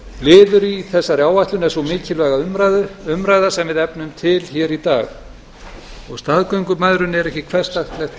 liður í þessari áætlun er sú mikilvæga umræða sem við efnum til hér í dag og staðgöngumæðrun er ekki hversdagslegt